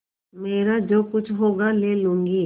मेरा जो कुछ होगा ले लूँगी